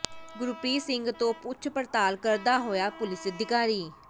ਗੁਰਪ੍ਰੀਤ ਸਿੰਘ ਤੋਂ ਪੁੱਛ ਪੜਤਾਲ ਕਰਦਾ ਹੋਇਆ ਪੁਲੀਸ ਅਧਿਕਾਰੀ